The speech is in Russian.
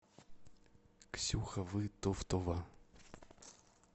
ксюха вытовтова